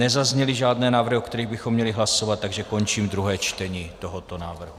Nezazněly žádné návrhy, o kterých bychom měli hlasovat, takže končím druhé čtení tohoto návrhu.